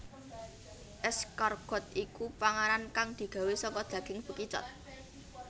Escargot iku panganan kang digawé saka daging bekicot